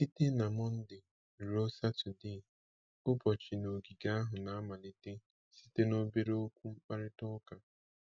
Site na Mọnde ruo Satọdee, ụbọchị n’ogige ahụ na-amalite site na obere okwu mkparịta ụka.